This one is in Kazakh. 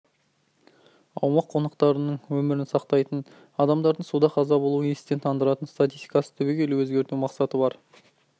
аумақ қонақтарының өмірін сақтайтын адамдардың суда қаза болу естен тандыратын статистикасын түбегейлі өзгерту мақсаты бар